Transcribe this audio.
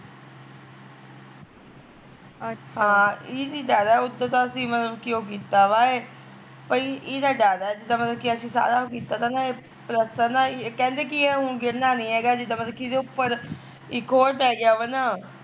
ਹਾਂ ਇਦੀ ਜਿਆਦਾ ਉਦਾ ਤਾਂ ਅਸੀਂ ਮਤਲਬ ਉਹ ਕੀਤਾ ਵਾ ਪਈ ਈਦਾ ਡਰ ਐ ਜਿਦਾਂ ਮਤਲਬ ਅਸੀਂ ਸਾਰਾ ਉਹ ਕੀਤਾ ਤਾਂ ਨਾ, ਪਲੱਸਤਰ ਨਾ ਕਹਿੰਦੇ ਨਾ ਕੀ ਏਹ ਹੁਣ ਗਿਰਨਾ ਨੀ ਹੈਗਾ ਜਿਦਾਂ ਕੀ ਮਤਲਬ ਇਦੇ ਉੱਪਰ ਇੱਕ ਹੋਰ ਪੈ ਗਿਆ ਵਾ ਨਾ